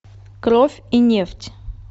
кровь и нефть